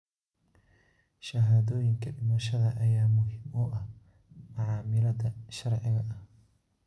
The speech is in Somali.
Shahaadooyinka dhimashada ayaa muhiim u ah macaamilada sharciga ah.